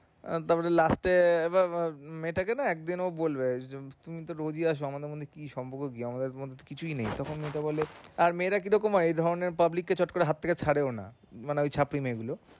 একবার last এ মেয়েটাকে না একদিন ও বলবে যে তুমি তো daily আসো আমাদের মধ্যে কি সম্পর্ক কি আমাদের তো কিছুই নেই তখন মেয়েটা বলবে আর মেয়েরা কিরকম হয় এরকম public কে চট করে হাত থেকে ছাড়েও না মানে ছাত্রী মেয়েগুলো